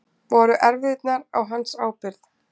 Voru erfðirnar á hans ábyrgð?